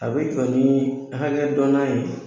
A be jɔ ni hakɛdɔnna ye